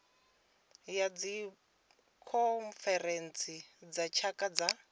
ya dzikhonferentsi dza tshaka dza